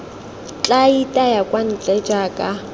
tla itaya kwa ntle jaaka